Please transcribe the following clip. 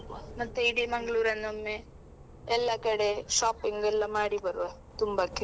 ಹೋಗ್ವಾ, ಮತ್ತೆ ಇಡೀ Mangalore ಅನ್ನು ಒಮ್ಮೆ ಎಲ್ಲಾ ಕಡೆ shopping ಎಲ್ಲಾ ಮಾಡಿ ಬರುವ ತುಂಬಕ್ಕೆ.